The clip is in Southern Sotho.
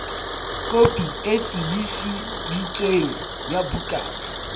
kopi e tiiseditsweng ya bukana